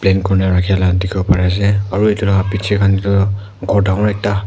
paint kore na rakhela dikhi bo pari ase aru etu lah piche khan tu ghor dangor ekta--